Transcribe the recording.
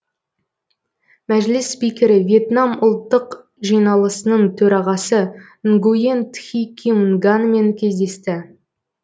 мәжіліс спикері вьетнам ұлттық жиналысының төрағасы нгуен тхи ким нганмен кездесті